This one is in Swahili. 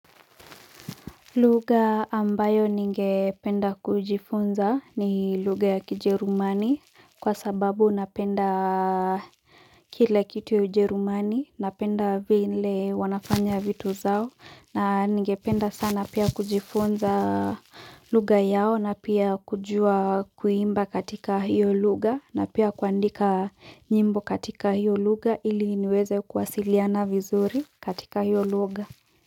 Lugha ambayo ningependa kujifunza ni lugha ya kijerumani kwa sababu napenda kila kitu ya ujerumani, napenda vile wanafanya vitu zao, na ningependa sana pia kujifunza lugha yao na pia kujuwa kuimba katika hiyo lugha, na pia kuandika nyimbo katika hiyo lugha ili niweze kuwasiliana vizuri katika hiyo lugha.